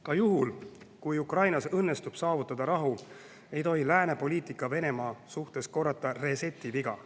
Ka juhul, kui Ukrainas õnnestub saavutada rahu, ei tohi lääne poliitika Venemaa suhtes korrata reset'i viga.